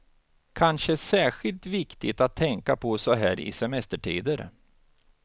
Kanske särskilt viktigt att tänka på så här i semestertider.